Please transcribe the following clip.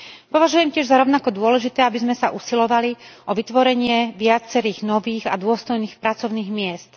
Považujem tiež za rovnako dôležité, aby sme sa usilovali o vytvorenie viacerých nových a dôstojných pracovných miest.